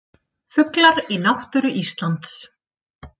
Fuglar í náttúru Íslands.